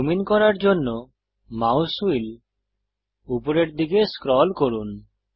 zoom in করার জন্য mouse wheel উপরের দিকে স্ক্রল করুন